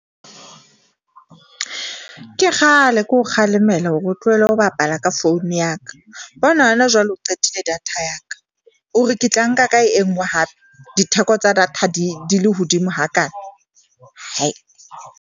Ke kgale ke o kgalemela hore o tlohele ho bapala ka phone ya ka. Bona hona jwale o qetile data ya ka, o re ke tla nka ka e nngwe hape ditheko tsa data di le hodimo hakaana .